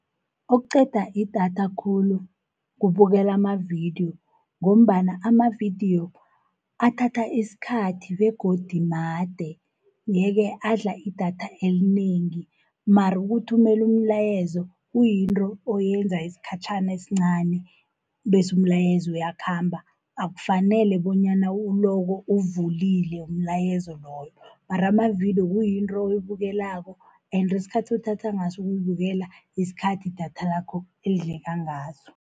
Okuqeda idatha khulu kubukela amavidiyo, ngombana amavidiyo athatha isikhathi, begodu made, ye-ke adla idatha elinengi. Mara ukuthumela umlayezo kuyinto oyenza isikhatjhana esincani, bese umlayezo uyakhamba, akufanele bonyana uloko uwuvulile umlayezo loyo. Mara amavidiyo kuyinto oyibukelako ende isikhathi uthatha ngaso ukuyibukela yisikhathi idatha lakho elidleka ngaso.